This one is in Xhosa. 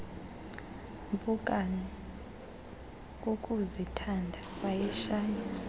mpukane kukuzithanda wayishaya